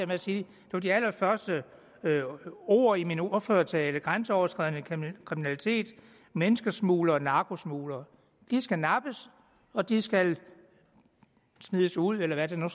med at sige det var de allerførste ord i min ordførertale grænseoverskridende kriminalitet menneskesmuglere narkosmuglere skal nappes og de skal smides ud eller hvad der nu